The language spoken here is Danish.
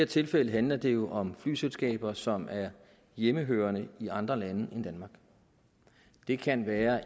tilfælde handler det jo om flyselskaber som er hjemmehørende i andre lande end danmark det kan være